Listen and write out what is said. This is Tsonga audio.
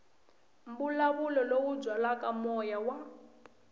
mbulavulo lowu byalaka moya wa